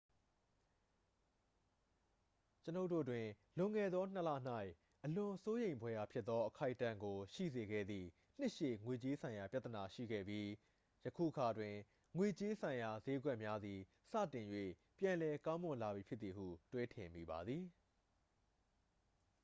ကျွန်ုပ်တို့တွင် လွန်ခဲ့သောနှစ်လ၌ အလွန်စိုးရိမ်ဖွယ်ရာဖြစ်သော အခိုက်အတန့်ကို ရှိစေခဲ့သည့် နှစ်ရှည် ငွေကြေးဆိုင်ရာ ပြဿနာရှိနေပြီး ယခုအခါတွင် ငွေကြေးဆိုင်ရာစျေးကွက်များသည် စတင်၍ ပြန်လည်ကောင်းမွန်လာပြီဖြစ်သည်ဟု တွေးထင်မိပါသည်